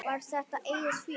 Var þetta eigið fé?